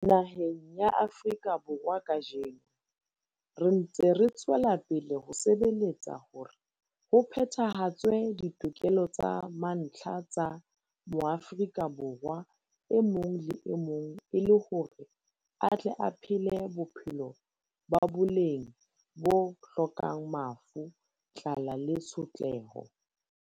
Naheng ya Afrika Borwa kajeno, re ntse re tswela pele ho sebeletsa hore ho phetha-hatswe ditokelo tsa mantlha tsa Moafrika Borwa e mong le e mong e le hore a tle a phele bophelo ba boleng bo hlokang mafu, tlala le tshotleho.